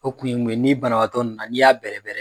O kun ye mun ye, ni banabaatɔ nna n'i y'a bɛrɛbɛrɛ